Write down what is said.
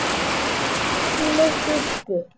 Betri tíminn gilti.